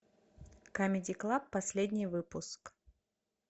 камеди клаб последний выпуск